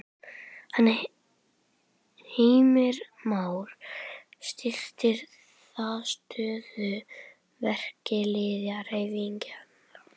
Heimir Már: Styrkir það stöðu verkalýðshreyfingarinnar?